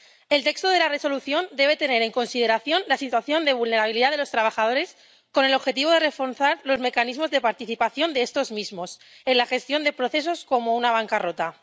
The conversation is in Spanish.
El texto de la Resolución debe tener en consideración la situación de vulnerabilidad de los trabajadores con el objetivo de reforzar los mecanismos de participación de estos mismos en la gestión de procesos como una bancarrota.